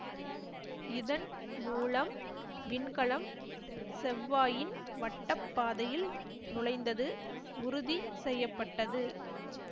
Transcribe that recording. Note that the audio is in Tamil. இதன் மூலம் விண்கலம் செவ்வாயின் வட்டப்பாதையில் நுழைந்தது உறுதி செய்ய பட்டது